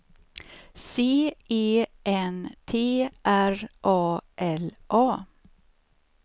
C E N T R A L A